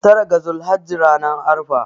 tara ga zulhajji ranar arfa